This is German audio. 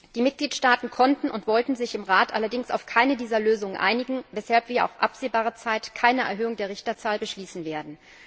Die Mitgliedstaaten konnten und wollten sich im Rat allerdings auf keine dieser Lösungen einigen, weshalb wir auf absehbare Zeit keine Erhöhung der Richterzahl beschließen werden.